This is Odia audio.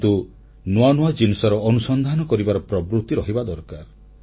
କିନ୍ତୁ ନୂଆ ନୂଆ ଜିନିଷର ଅନୁସନ୍ଧାନ କରିବାର ପ୍ରବୃତି ରହିବା ଦରକାର